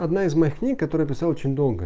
одна из моих книг которые писал очень долго